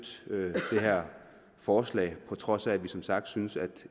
støtte det her forslag på trods af at vi som sagt synes at